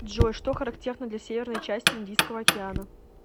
джой что характерно для северной части индийского океана